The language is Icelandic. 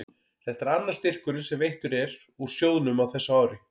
Þetta er annar styrkurinn sem veittur er úr sjóðnum á þessu ári.